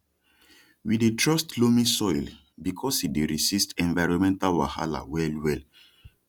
we dey trust loamy soil because e dey resist environmental wahala well well